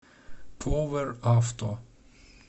поверавто